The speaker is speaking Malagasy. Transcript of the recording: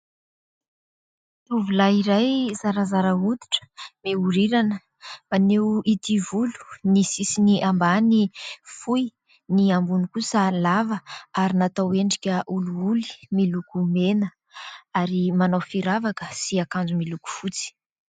Tovolahy iray zarazara hoditra, mihorirana, maneho ity volo. Ny sisiny ambany fohy ; ny ambony kosa lava ary natao endrika olioly, miloko mena ary manao firavaka sy akanjo miloko fotsy.